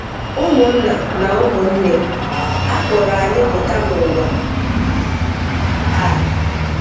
Ụmụ́nna na ụmụ́nne, à kpọrọ anyị́ pụta n’ụ́wa a.